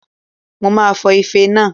Mo máa fọ ife náà